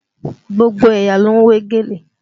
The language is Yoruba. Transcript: Gbogbo ẹ̀yà ló ń wé gèlè